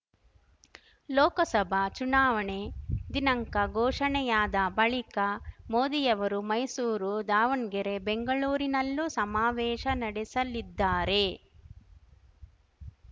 ಲೋಕಸಭಾ ಚುನಾವಣೆ ದಿನಾಂಕ ಘೋಷಣೆಯಾದ ಬಳಿಕ ಮೋದಿಯವರು ಮೈಸೂರು ದಾವಣ್ ಗೆರೆ ಬೆಂಗಳೂರಿನಲ್ಲೂ ಸಮಾವೇಶ ನಡೆಸಲಿದ್ದಾರೆ